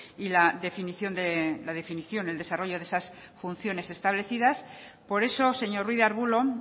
y la definición el desarrollo de esas funciones establecidas por eso señor ruiz de arbulo